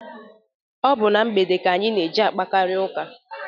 Ọ bụ na mgbede ka anyị na-eji akparịta ụka.